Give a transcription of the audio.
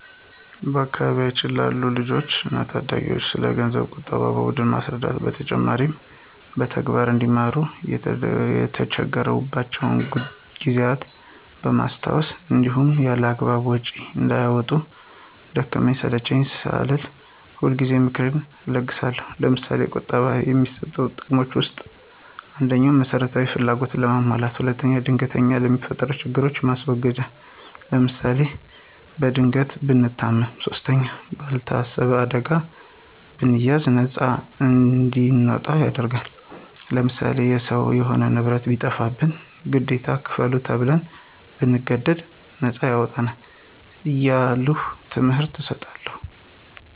በአካባቢያችን ላሉ ልጆች እና ታዳጊዎች ስለገንዘብ ቁጠባ በደንብ ከማስረዳት በተጨማሪ በተግባር አንዲማሩ የተቸገሩባቸውን ጊዜያቶች በማስታወስ እንዲሁም ያላግባብ ወጭዎችን እንዳያወጡ ደከመኝ ሰለቼኝ ሳልል ሁልጊዜ ምክሬን እለግሳለሁ። ለምሳሌ፦ ቁጠባ ከሚሰጡት ጥቅሞች ውስጥ፦ ፩) መሰረታዊ ፍላጎታችንን ለማሟላት። ፪) ድንገተኛ ለሚፈጠሩብን ችግሮች ማስወገጃ ለምሳሌ፦ በድንገት ብንታመም ፫) ባልታሰበ ዕዳ ብንያዝ ነፃ እንድንወጣ ያደርግናል። ለምሳሌ፦ የሰው የሆነ ንብረት ቢጠፋብንና ግዴታ ክፈሉ ተብን ብንገደድ ነፃ ያወጣናል። እያልሁ ትምህርት እሰጣለሁ።